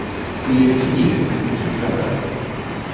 Þú lifir kynlífi en vilt ekki ræða það.